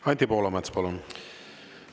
Anti Poolamets, palun!